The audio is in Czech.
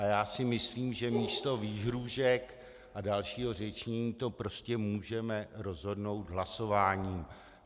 Ale já si myslím, že místo výhrůžek a dalšího řečnění to prostě můžeme rozhodnout hlasováním.